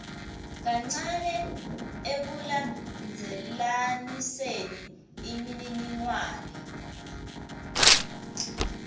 kancane ekulandzelaniseni imininingwane